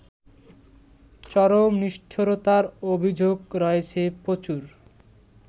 চরম নিষ্ঠুরতার অভিযোগ রয়েছে প্রচুর